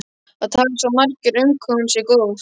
Það tali svo margir um hvað hún sé góð.